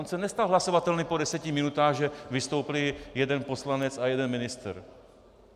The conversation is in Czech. On se nestal hlasovatelným po deseti minutách, že vystoupil jeden poslanec a jeden ministr.